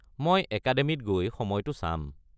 মই একাডেমিত গৈ সময়টো চাম।